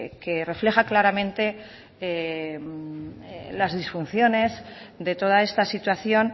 que refleja claramente las disfunciones de toda esta situación